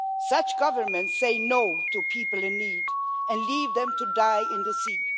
Such governments say no to people in need and leave them to die in the sea.